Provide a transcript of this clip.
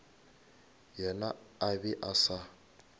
yena a be a sa